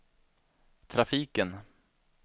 trafiken